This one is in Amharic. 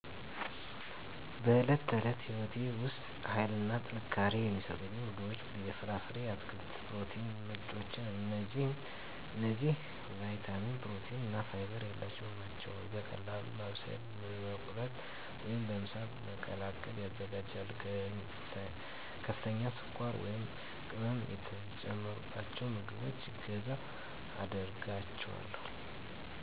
በዕለት ተዕለት ሕይወቴ ውስጥ ኃይልና ጥንካሬ የሚሰጡኝ ምግቦች የፍራፍሬ፣ የአትክልት የፕሮቲን ምንጮች እነዚህ ቪታሚን፣ ፕሮቲን እና ፋይበር ያሉባቸው ናቸው። በቀላሉ ማብሰል፣ መቁረጥ ወይም በምሳ መቀላቀል ይዘጋጃሉ። ከፍተኛ ስኳር ወይም ቅመም የተጨመሩባቸውን ምግቦች እገዛ አደርጋቸዋለሁ።